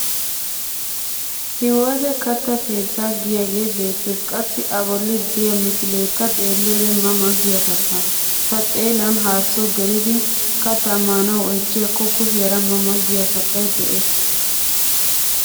Hiwoote katta keettaa giyaagee beettes qassi a bolli de'iyaa misileekka xeelliyoode ma ma giya kattaa. Ta xeelan hasoo gelidi kattaa maanawu oychchiyakko kushiyaara ma ma giya kattay de'es.